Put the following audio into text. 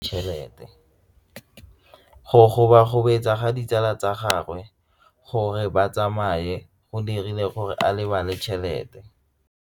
Go gobagobetsa ga ditsala tsa gagwe, gore ba tsamaye go dirile gore a lebale tšhelete.